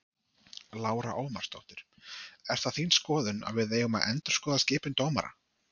Lára Ómarsdóttir: Er það þín skoðun að við eigum að endurskoða skipun dómara?